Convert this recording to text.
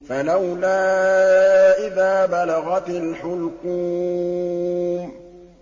فَلَوْلَا إِذَا بَلَغَتِ الْحُلْقُومَ